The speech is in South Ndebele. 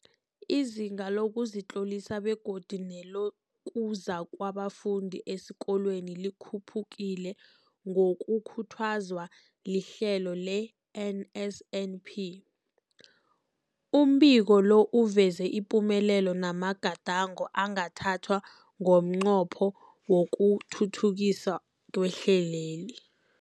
Izinga lokuzitlolisa begodu nelokuza kwabafundi esikolweni likhuphukile ngokukhuthazwa lihlelo le-NSNP. Umbiko lo uveza ipumelelo namagadango angathathwa ngomnqopho wokuthuthukisa ihlelweli.